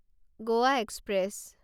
Goa express